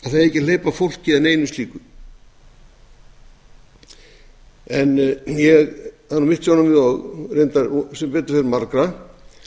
ekki að hleypa fólki að neinu slíku en það er mitt sjónarmið og reyndar sem betur fer margra að